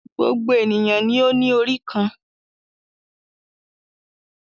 Gbogbo ènìyàn ni ó ní orí kan.